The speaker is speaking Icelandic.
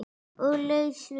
Og laus við